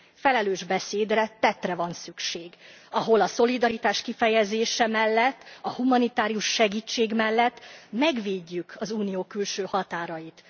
Felelős beszédre, tettre van szükség, ahol a szolidaritás kifejezése mellett, a humanitárius segítség mellett megvédjük az Unió külső határait.